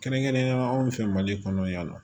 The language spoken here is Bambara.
Kɛrɛnkɛrɛnnenyala anw fɛ mali kɔnɔ yan nɔ